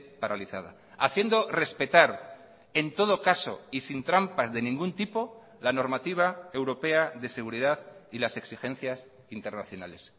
paralizada haciendo respetar en todo caso y sin trampas de ningún tipo la normativa europea de seguridad y las exigencias internacionales